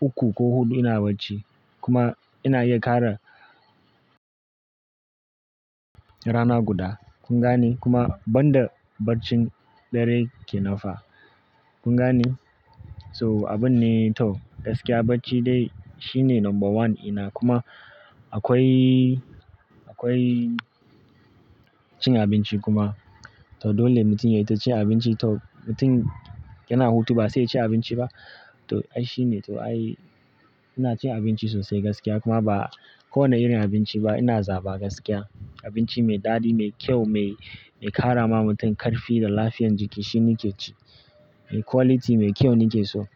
uku ko huɗu ina bacci kuma ina iya ƙara rana guda. Kun gane? Kuma banda barcin dare ke nan fa. Kun gane? So abun ne to gaskiya bacci dai shine number one ina. Kuma akwai, akwai cin abinci kuma. To dole mutum ya yi ta cin abinci. To mutum yana hutu ba sai ya ci abinci ba. To ai shine. To ai ina cin abinci sosai gaskiya kuma ba kowane irin abinci ba ina zaɓa gaskiya. Abinci mai daɗi, mai kyau, mai, mai ƙara ma mutum ƙarfi da lafiyan jiki shi nike ci. Mai quality, mai kyau nike so.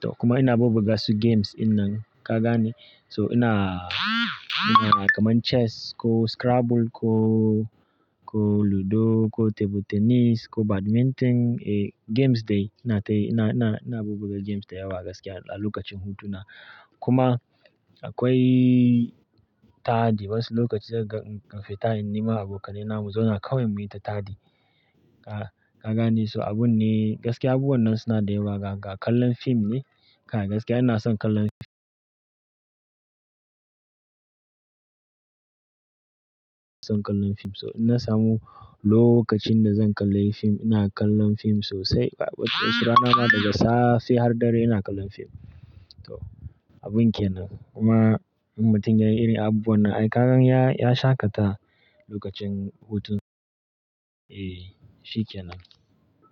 To kuma ina bubbuga su games ina nan. Ka gane? So ina, ina kamar chess ko scrabble ko, ko ludo ko table tennis ko badminton. Eh games dai ina ta yi, ina, ina, ina bubbuga games da yawa gaskiya a lokacin hutuna. Kuma akwai taɗi wasu lokaci zaka ga infi ta in nema abokanai na mu zauna kawai muyi ta taɗi. Ka, ka gane? So abun ne gaskiya abubuwan nan suna da yawa ga, ga kallon fim ne. Kai gaskiya ina son kallon fim. Ina son kallon fim. So in na samu lokacin da zan kalla fim ina kallon fim sosai. Rana ma daga safe har dare ina kallon fim. To abun ke nan. Kuma in mutum yayi irin abubuwan nan ai ka gan ya, ya shaƙata lokacin hutun. Eh shi ke nan.